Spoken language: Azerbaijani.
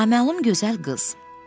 Naməlum gözəl qız.